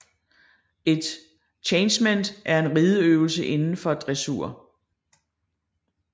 Et changement er en rideøvelse inden for dressur